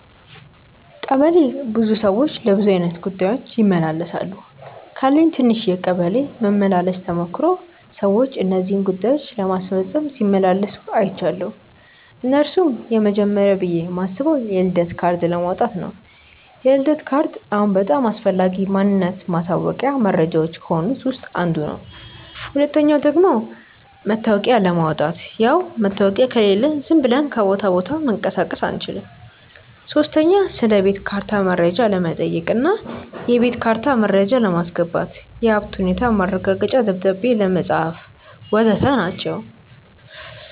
ቀበሌ ብዙ ሰዎች ለብዙ አይነት ጉዳዮች ይመላለሳሉ። ካለኝ ትንሽ የቀበሌ መመላለስ ተሞክሮ ሰዎች እነዚህን ጉዳዮች ለማስፈጸም ሲመላለሱ አይችያለው። እነርሱም፦ የመጀመርያው ብዬ ማስበው የልደት ካርድ ለማውጣት ነው፤ የልደት ካርድ አሁን በጣም አስፈላጊ ማንነት ማሳወቂያ መረጃዎች ከሆኑት ውስጥ አንዱ ነው። ሁለተኛው ደግሞ መታወቂያ ለማውጣት፣ ያው መታወቂያ ከሌለን ዝም ብለን ከቦታ ቦታ መንቀሳቀስ አንችልም። ሶስተኛ ስለቤት ካርታ መረጃ ለመጠየቅ እና የቤት ካርታ መረጃ ለማስገባት፣ የሀብት ሁኔታ ማረጋገጫ ደብዳቤ ለማጻፍ.... ወዘተ ናቸው።